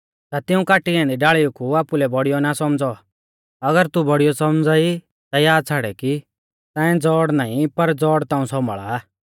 ता तिऊं काटी ऐन्दी डाल़ीऊ कु आपुलै बौड़ियौ ना सौमझ़ौ और अगर तू बौड़ियौ सौमझ़ा ई ता याद छ़ाड़ै कि ताऐं ज़ौड़ नाईं पर ज़ौड़ ताऊं सौम्भाल़ा आ